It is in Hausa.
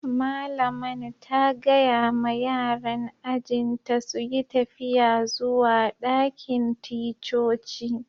Malaman ta gaya ma yaran ajin ta su yi tafiya zuwa dakin ticcoci.